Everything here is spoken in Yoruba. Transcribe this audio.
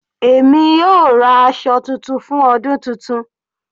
Èmi yóò ra aṣọ titun fún ọdún titun.